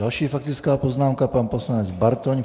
Další faktická poznámka - pan poslanec Bartoň.